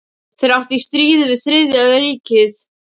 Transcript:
Þeir áttu í stríði við Þriðja ríkið.